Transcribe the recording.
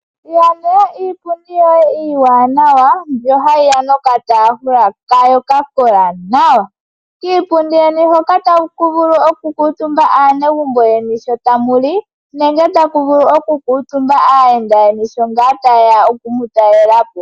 Ilandela iipundi yoye iiwanawa mbyoka hayi ya nokataafula kayo hoka ka kola nwa. Kiipundi yeni hoka taku vulu okukuutumba aanegumbo yeni sho tamu li nenge taku vulu okukuutumba aayenda yeni shi taye ya okumu talela po.